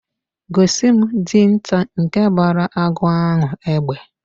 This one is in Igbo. Gosi m Dinta nke gbara agụ ahu egbe!